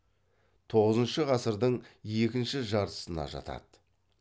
тоғызыншы ғасырдың екінші жартысына жатады